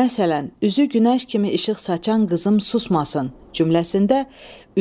Məsələn, üzü günəş kimi işıq saçan qızım susmasın cümləsində